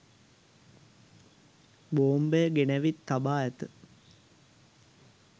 බෝම්බය ගෙනැවිත් තබා ඇත